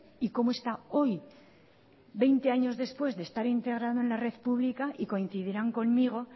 y cómo está hoy veinte años después de estar integrado en la red pública y coincidirán conmigo